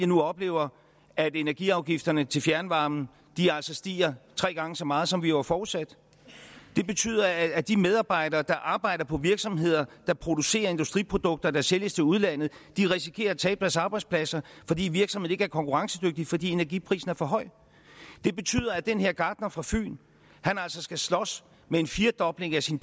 nu oplever at energiafgifterne til fjernvarmen altså stiger tre gange så meget som vi jo har forudsat det betyder at de medarbejdere der arbejder på virksomheder der producerer industriprodukter der sælges til udlandet risikerer at tabe deres arbejdspladser fordi virksomheden ikke er konkurrencedygtig fordi energiprisen er for høj det betyder at den her gartner fra fyn altså skal slås med en firdobling af sin